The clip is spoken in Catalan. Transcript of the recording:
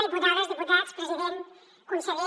diputades diputats president conseller